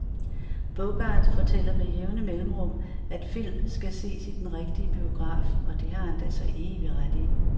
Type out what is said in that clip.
Bogart fortæller med jævne mellemrum, at film skal ses i den rigtige biograf, og det har han da så evig ret i.